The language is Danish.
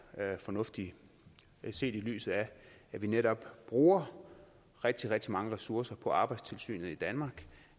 fornuftige set i lyset af at vi netop bruger rigtig rigtig mange ressourcer på arbejdstilsynet i danmark